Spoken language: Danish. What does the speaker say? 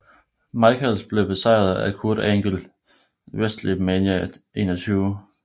Michaels blev besejret af Kurt Angle ved WrestleMania 21